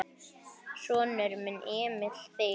Sonur: Emil Þeyr.